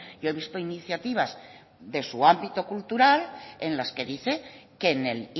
yo he visto iniciativas de su ámbito cultural en las que dice que en el